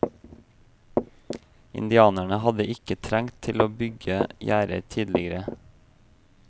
Indianerne hadde ikke trengt til å bygge gjerder tidligere.